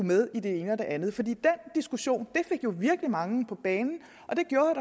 med i det ene og det andet for den diskussion fik virkelig mange på banen og det gjorde